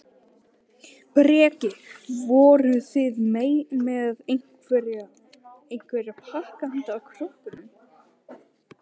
Breki: Voruð þið með einhverja, einhverja pakka handa krökkunum?